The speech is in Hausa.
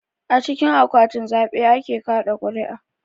A cikin akwatin zaɓe ake kaɗa ƙuri'a